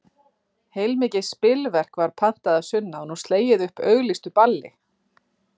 Heilmikið spilverk var pantað að sunnan og slegið upp auglýstu balli.